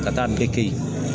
Ka taa